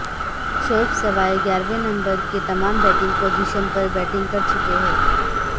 شعیب سوائے گیارہویں نمبر کے تمام بیٹنگ پوزیشن پر بیٹنگ کر چکے ہیں